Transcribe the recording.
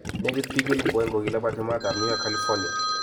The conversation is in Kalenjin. Nekit bik 200,000 kolabati mat ab Nyika California.